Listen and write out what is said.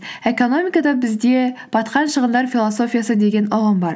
экономикада бізде батқан шығындар философиясы деген ұғым бар